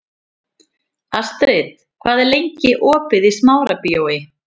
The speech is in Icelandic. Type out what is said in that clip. Astrid, hvað er lengi opið í Smárabíói?